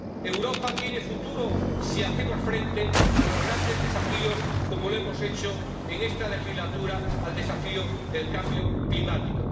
Europa tiene futuro si hacemos frente a los grandes desafíos como lo hemos hecho en esta legislatura al desafío del cambio climático.